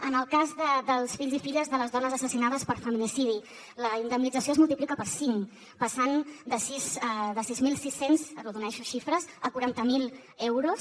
en el cas dels fills i filles de les dones assassinades per feminicidi la indemnització es multiplica per cinc passant de sis mil sis cents arrodoneixo xifres a quaranta mil euros